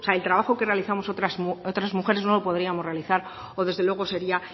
el trabajo que realizamos mujeres no lo podríamos realizar o desde luego sería